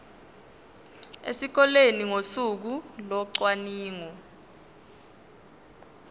esikoleni ngosuku locwaningo